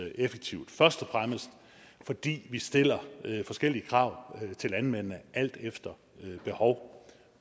også og fremmest fordi vi stiller forskellige krav til landmændene alt efter behov